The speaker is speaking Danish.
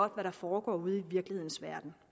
der foregår ude i virkelighedens verden